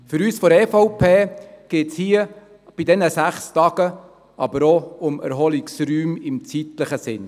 Für uns von der EVP geht es hier bei diesen sechs Tagen aber auch um Erholungsräume im zeitlichen Sinne.